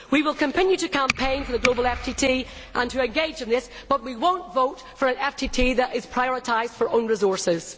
We will continue to campaign for the global FTT and to engage in this, but we will not vote for an FTT that is prioritised for own resources.